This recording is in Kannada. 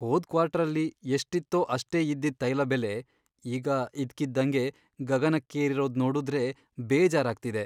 ಹೋದ್ ಕ್ವಾರ್ಟರಲ್ಲಿ ಎಷ್ಟಿತ್ತೋ ಅಷ್ಟೇ ಇದ್ದಿದ್ ತೈಲ ಬೆಲೆ ಈಗ ಇದ್ಕಿದ್ದಂಗೆ ಗಗನಕ್ಕೇರಿರೋದ್ ನೋಡುದ್ರೆ ಬೇಜಾರಾಗ್ತಿದೆ.